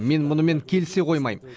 мен мұнымен келісе қоймайм